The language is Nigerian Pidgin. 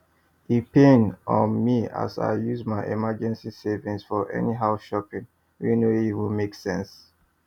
e paim um me as i use my emergency savings for anyhow shopping wey no even make sense